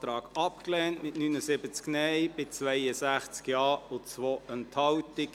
Sie haben diesen Ordnungsantrag abgelehnt, mit 79 Nein- gegen 62 Ja-Stimmen bei 2 Enthaltungen.